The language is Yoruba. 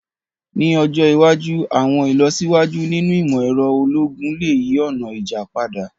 Ni ọjọ iwaju, àwọn ilọsiwaju ninu imọ-ẹrọ ologun le yi ọna ija pada.